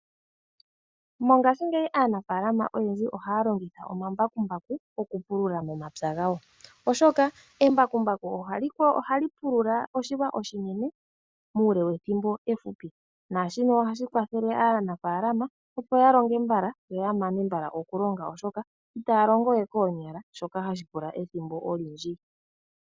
Mongashingeyi aanafalama oyendji ohaya longitha omambakumbaku okupulula momapya gawo oshoka embakumbaku ohali ho, ohali pulula oshilwa oshinene muule wethimbo efupi. Naashino ohashi kwathele aanafalama opo ya longe mbala yo ya mane mbala okulonga oshoka itaya longo we koonyala shoka hashi pula ethimbo olindji.